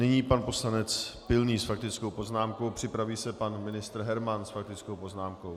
Nyní pan poslanec Pilný s faktickou poznámkou, připraví se pan ministr Herman s faktickou poznámkou.